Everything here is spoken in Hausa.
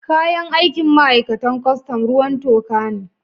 Kayan aikin ma'aikatan kwastam, ruwan toka ne.